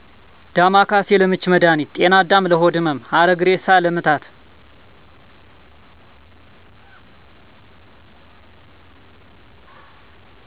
ዳማከሴ:- ለምች መድሀኒት ጤናዳም:- ለሆድ ህመም ሀረግእሬሳ:- ለምታት